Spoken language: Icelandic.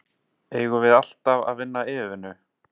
Eigum við alltaf að vinna yfirvinnu?